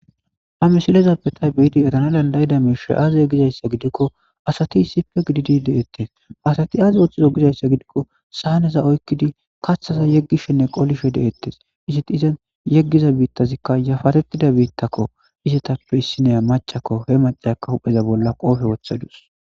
Ha misilezape ya beyada erana danda'ida miishi aze hozaysa gidiko asati issipe gididi de'etes asati azi pthizo gizaysa gifiko saneza oykido kathaza yegoshene qolishe de'etes izeto ozan yegiza bittazika yafaretida bittako izetappe issiniya macako heaviyaka hu'rza bolla kope wothadus